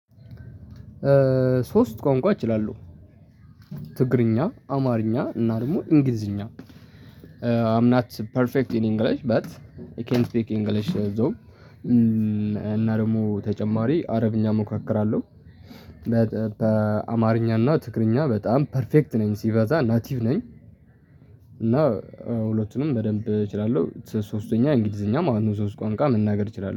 ሶስት ቋንቋ እችላለሁ። ትግርኛ አማርኛ እና ደግሞ እንግሊዝኛ አይ አም ኖት ፐርፌክት ኢን ኢንግልሽ በት ኢን ካንት ስፒክ ኢንግልሽ ዞም እና ደግሞ ተጨማሪ አረብኛ ሞካክራለሁ። በአማርኛ እና ትግረኛኛ በጣም ፐርፌክት ነኝ ሲበዛ ናቲቭ ነኝ። እና ሁለቱንም በደንብ እችላለሁ ሶስተኛ እንግሊዝኛ ማለት ነው ሶስት ቋንቋ መናገር እችላለሁ